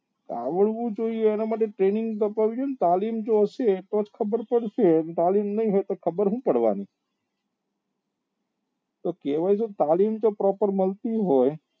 આવડવું જોઈએ એના માટે training તો હોવી જોઈએ ને તાલીમ જો હશે તો જ ખબર પડશે ને તાલીમ નહી હોય તો હું પડવા ની તો કહેવાય છે કે તાલીમ જો proper મળતી હોય